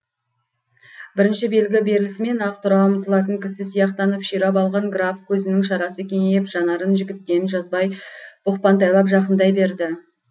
бірінші белгі берілісімен ақ тұра ұмтылатын кісі сияқтанып ширап алған граф көзінің шарасы кеңейіп жанарын жігіттен жазбай бұқпантайлап жақындай берді